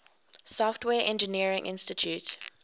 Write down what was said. software engineering institute